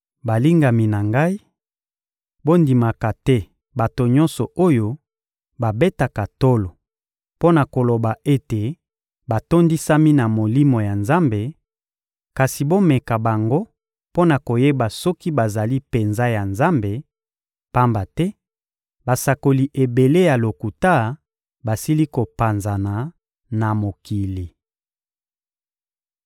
Balingami na ngai, bondimaka te bato nyonso oyo babetaka tolo mpo na koloba ete batondisami na Molimo ya Nzambe; kasi bomeka bango mpo na koyeba soki bazali penza ya Nzambe, pamba te basakoli ebele ya lokuta basili kopanzana na mokili.